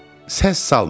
Səs salmayın.